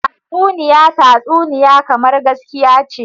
Tatsuniya tatsuniya kamar gaskiya ce.